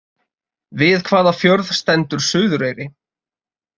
Við hvaða fjörð stendur Suðureyri?